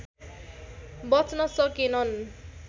बच्न सकेनन्